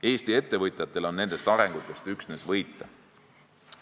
Eesti ettevõtjatel on nendest arengutest üksnes võita.